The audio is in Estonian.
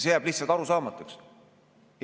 See jääb lihtsalt arusaamatuks.